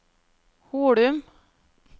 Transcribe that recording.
Holum